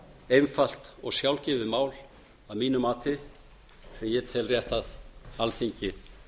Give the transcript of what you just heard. einfalt og sjálfgefið mál að mínu mati sem ég tel rétt að alþingi